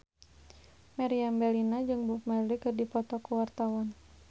Meriam Bellina jeung Bob Marley keur dipoto ku wartawan